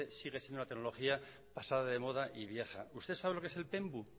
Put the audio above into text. sigue siendo una tecnología pasada de moda y vieja usted sabe lo que es el penbu